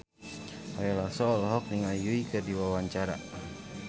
Ari Lasso olohok ningali Yui keur diwawancara